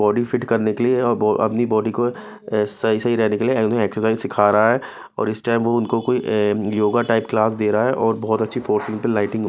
body fit करने के लिए और अपनी बॉडी को सही सही रहने के लिए उन्हें एक्सरसाइज सिखा रहा है और इस टाइम वो उनको कोई योगा टाइप क्लास दे रहा है और बहुत अच्छी फोर्थ पे लाइटिंग --